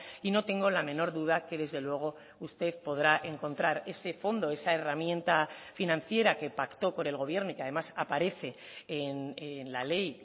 y no tengo la menor duda que desde luego usted podrá encontrar ese fondo esa herramienta financiera que pactó con el gobierno y que además aparece en la ley